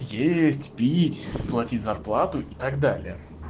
есть пить платить зарплату и так далее